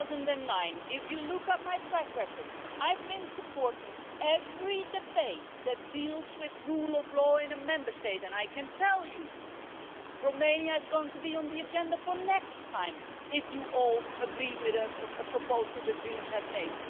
2009. If you look at my track record I have been supporting every debate that deals with rule of law in a Member State, and I can tell you that Romania is going to be on the agenda next time if you all agree with a proposal that the Greens have made.